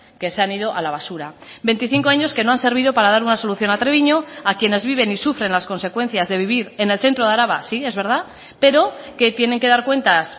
que se han ido a la basura veinticinco años que no han servido para dar una solución a treviño a quienes viven y sufren las consecuencias de vivir en el centro de araba sí es verdad pero que tienen que dar cuentas